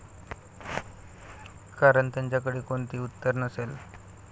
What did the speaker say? कारण त्यांच्याकडे कोणतेही उत्तर नसेल.